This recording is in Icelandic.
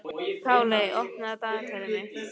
Páley, opnaðu dagatalið mitt.